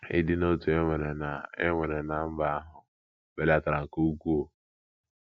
Ịdị n’otu e nwere ná e nwere ná mba ahụ belatara nke ukwuu.